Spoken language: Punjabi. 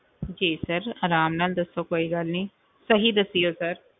ਜੀ sir ਆਰਾਮ ਨਾਲ ਦੱਸੋ ਕੋਈ ਗੱਲ ਨੀ ਸਹੀ ਦੱਸਿਓ sir